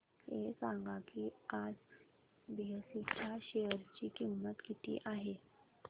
हे सांगा की आज बीएसई च्या शेअर ची किंमत किती आहे